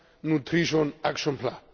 nutrition action plan.